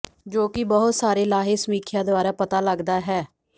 ਜੋ ਕਿ ਬਹੁਤ ਸਾਰੇ ਲਾਹੇ ਸਮੀਖਿਆ ਦੁਆਰਾ ਪਤਾ ਲੱਗਦਾ ਹੈ